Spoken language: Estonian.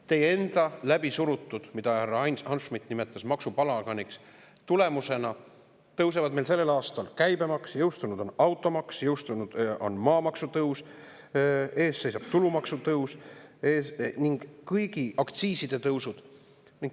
Teie enda läbisurutud tulemusena – härra Ain Hanschmidt nimetas seda maksupalaganiks – tõusevad meil sellel aastal käibemaks, jõustunud on automaks, jõustunud on maamaksu tõus, ees seisab tulumaksu tõus, kõigi aktsiiside tõus.